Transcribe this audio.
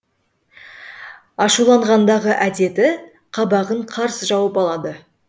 ашуланғандағы әдеті қабағын қарс жауып алады